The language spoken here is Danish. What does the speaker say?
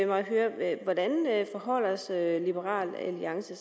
mig at høre er hvordan liberal alliance